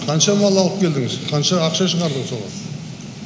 қанша мал алып келдіңіз қанша ақша жинадыңыз оған